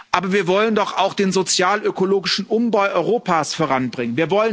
Aber wir wollen doch auch den sozialökologischen Umbau Europas voranbringen.